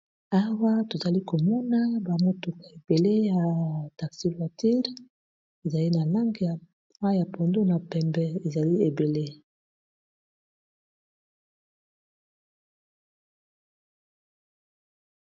Awa tozali komona ba motuka ebele ya taxi voiture ezali na langa aya pondo, na pembe ezali ebele.